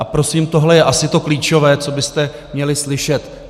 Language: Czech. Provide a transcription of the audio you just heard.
A prosím, tohle je asi to klíčové, co byste měli slyšet.